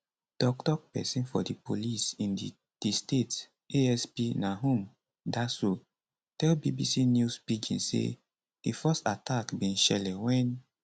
toktok pesin for di police in di di state asp nahum daso tell bbc news pidgin say di first attack bin shele wen